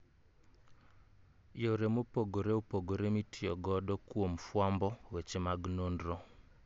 Yore mopogre opogre mitiyo godo kuom fwambo weche mag nonro